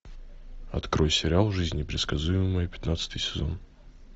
открой сериал жизнь непредсказуема пятнадцатый сезон